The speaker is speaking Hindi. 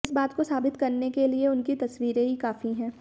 इस बात को साबित करने के लिए उनकी तस्वीरें ही काफी हैं